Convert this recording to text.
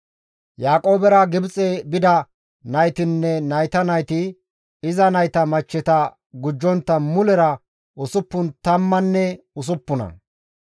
Yaaqoobera Gibxe bida naytinne nayta nayti, iza nayta machcheta gujjontta mulera usuppun tammanne usuppuna.